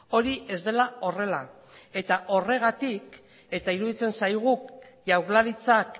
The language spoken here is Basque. hori ez dela horrela eta horregatik eta iruditzen zaigu jaurlaritzak